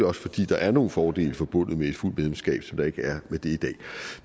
også fordi der er nogle fordele forbundet med et fuldt medlemskab som der ikke er med det i dag